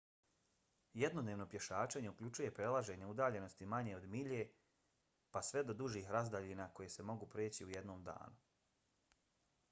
jednodnevno pješačenje uključuje prelažanje udaljenosti manje od milje pa sve do dužih razdaljina koje se mogu preći u jednom danu